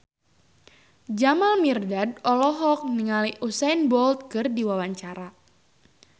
Jamal Mirdad olohok ningali Usain Bolt keur diwawancara